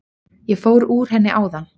Ég fór úr henni áðan.